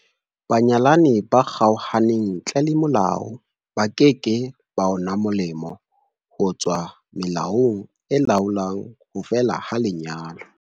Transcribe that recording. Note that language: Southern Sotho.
Banyalani ba kgaohaneng ntle le molao ba ke ke ba una molemo ho tswa melaong e laolang ho fela ha lenyalo.